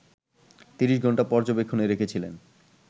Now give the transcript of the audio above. ৩০ ঘণ্টা পর্যবেক্ষণে রেখেছিলেন